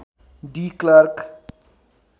de Klerk